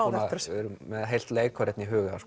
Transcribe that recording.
við erum með heilt leikár í huga